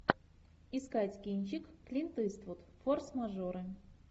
искать кинчик клинт иствуд форс мажоры